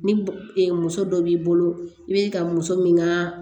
Ni muso dɔ b'i bolo i be ka muso min ŋaa